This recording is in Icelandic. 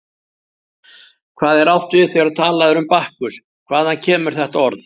Hvað er átt við þegar talað er um Bakkus, hvaðan kemur þetta orð?